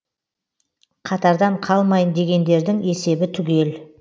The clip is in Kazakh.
қатардан қалмайын дегендердің есебі түгел